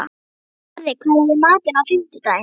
Barði, hvað er í matinn á fimmtudaginn?